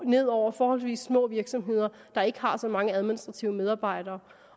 ned over forholdsvis små virksomheder der ikke har så mange administrative medarbejdere